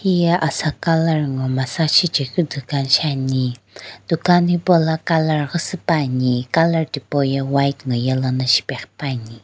hiyae asa Colour nguo massage shichae keu dukan shiane dukan hipou lo Colour siipe ani colour thipou ye white ngo yellow shipae ghipani.